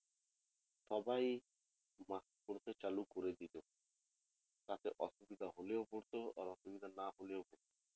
সবাই mask পড়তে চালু করে দিলো তাতে অসুবিধা হলেও পড়তে আর না হলেও পড়তো